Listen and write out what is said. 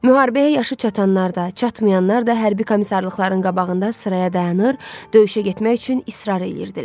Müharibəyə yaşı çatanlar da, çatmayanlar da hərbi komissarlıqların qabağında sıraya dayanır, döyüşə getmək üçün israr eləyirdilər.